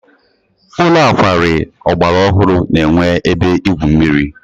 Ụlọ nkwari ọgbara ọhụrụ na-enwe ebe igwu mmiri.